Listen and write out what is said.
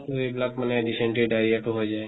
এইবিলাক মানে dysentery diarrhea তো হৈ যায়,